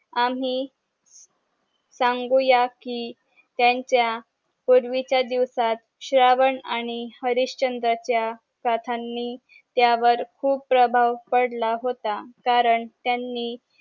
आम्ही सांगुयाकी त्यांच्या पूर्वीच्या दिवसात श्रावण आणि हरीशचंद्र च्या कथांनी त्यावर खूप प्रभाव पडला होता कारण त्यांनी